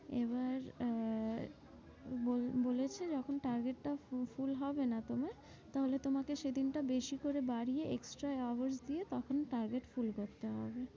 এবার আহ বল~ বলেছে যখন target টা full হবে না তোমার, তাহলে সেদিনটা বেশি করে বাড়িয়ে extra দিয়ে তখন target full করতে হবে।